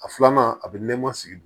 A filanan a bɛ nɛma sigi